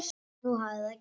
Nú hafði það gerst.